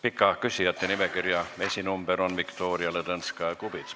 Pika küsijate nimekirja esinumber on Viktoria Ladõnskaja-Kubits.